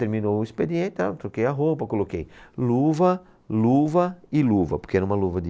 Terminou o expediente, tal, troquei a roupa, coloquei luva, luva e luva, porque era uma luva de